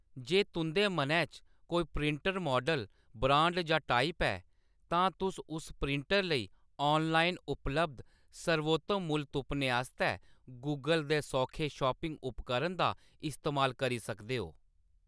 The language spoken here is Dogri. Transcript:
जे तुंʼदे मनै च कोई प्रिंटर माडल, ब्रांड जां टाइप ऐ, तां तुस उस प्रिंटर लेई ऑनलाइन उपलब्ध सर्वोत्तम मुल्ल तुप्पने आस्तै गूगल दे सौखे शॉपिंग उपकरण दा इस्तेमाल करी सकदे ओ।